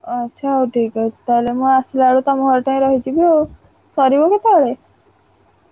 ଆଚ୍ଛା ହଉ ଠିକ୍ ଅଛି। ତାହେଲେ ମୁଁ ଆସିଲା ବେଳକୁ ତମ ଘର ଠେଇଁ ରହିଯିବି ଆଉ। ସରିବ କେତବେଳେ?